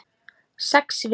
Sex vikur.